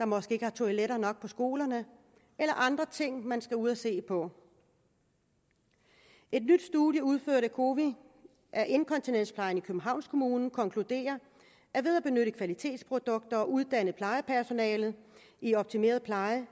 måske ikke har toiletter nok på skolerne eller andre ting man skal ud at se på et nyt studie udført af cowi af inkontinensplejen i københavns kommune konkluderer at ved at benytte kvalitetsprodukter og uddanne plejepersonalet i optimeret pleje